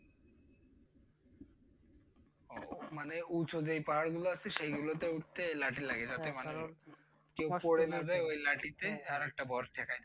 মানে উঁচু যেই পাহাড় গুলো আছে সেগুলো তে উঠতে লাঠি লাগে কারণ কেউ পড়ে না যায় লাঠিতে